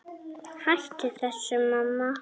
Hættu þessu, mamma!